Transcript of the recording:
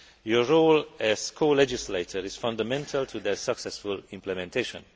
Your role as co legislator is fundamental to their successful implementation.